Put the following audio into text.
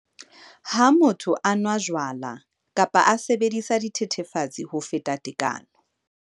lHa motho a nwa jwala kapa a sebedisa dithethefatsi ho feta tekano.